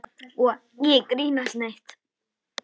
Og ekki grínast neitt!